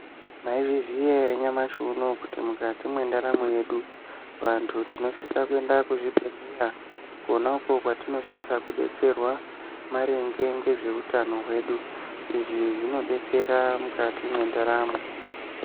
Maizviziya ere nyamashi unowu kuti mukati mwendaramo yedu vantu tinosisa kuenda kuzvibhedhleya, kona uko kwatinosisa kudetserwa maringe ngezveutano hwedu. Izvi zvinodetsera mwukati mwendaramwo.